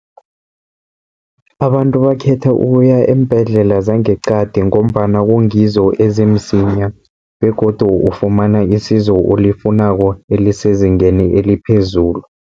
Abantu bakhetha ukuya eembhedlela zangeqadi, ngombana kungizo ezimsinya begodu ufumana isizo olifunako elisezingeni eliphezulu.